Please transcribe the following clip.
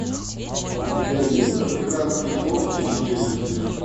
у тебя есть африканские когти и челюсти